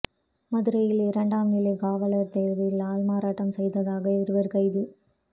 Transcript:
மதுரையில் இரண்டாம் நிலை காவலர் தேர்வில் ஆள்மாறாட்டம் செய்ததாக இருவர் கைது